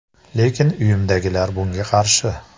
Lekin uyimdagilar bunga qarshi.